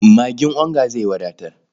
Magin onga zai wadatar.